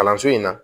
Kalanso in na